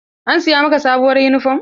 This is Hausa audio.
An siya ma ka sabuwur yunifom?